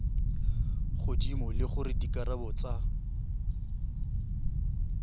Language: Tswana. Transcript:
godimo le gore dikarabo tsa